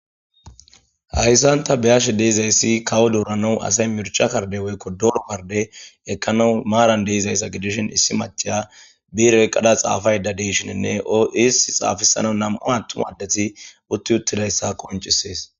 Haysan ta beyashe dizaysi asay kawo doramaw mirca karde woyko dooro karde ekanaw maran de'izaysa gidishin issi maca bire ekada xaafayda de'ishinninne is xaafisanaw nam'u attumay utti uttidaysa qoncisses